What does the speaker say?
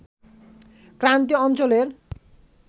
ক্রান্তীয় অঞ্চলের